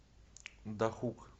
дахук